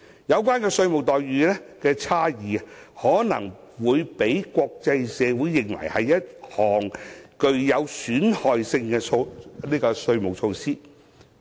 有關的稅務待遇差異，可能會被國際社會視為一項具有損害性的稅務措施。